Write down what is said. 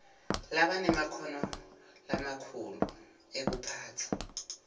labanemakhono lamakhulu ekuphatsa